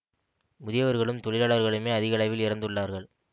முதியவர்களும் தொழிலாளர்களுமே அதிக அளவில் இறந்துள்ளார்கள்